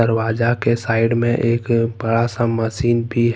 दरवाज़ा के साइड में एक बड़ा सा मशीन भी है।